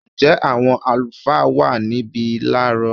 Ǹjẹ́ àwọn àlùfáà wà níbí láàrọ̀?